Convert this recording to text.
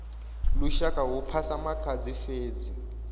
lushaka hu phasa makhadzi fhedzi